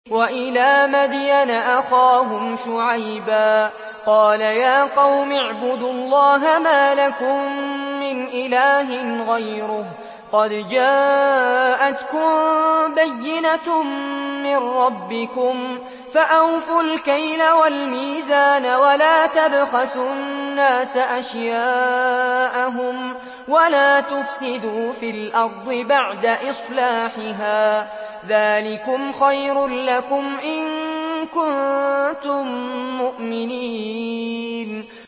وَإِلَىٰ مَدْيَنَ أَخَاهُمْ شُعَيْبًا ۗ قَالَ يَا قَوْمِ اعْبُدُوا اللَّهَ مَا لَكُم مِّنْ إِلَٰهٍ غَيْرُهُ ۖ قَدْ جَاءَتْكُم بَيِّنَةٌ مِّن رَّبِّكُمْ ۖ فَأَوْفُوا الْكَيْلَ وَالْمِيزَانَ وَلَا تَبْخَسُوا النَّاسَ أَشْيَاءَهُمْ وَلَا تُفْسِدُوا فِي الْأَرْضِ بَعْدَ إِصْلَاحِهَا ۚ ذَٰلِكُمْ خَيْرٌ لَّكُمْ إِن كُنتُم مُّؤْمِنِينَ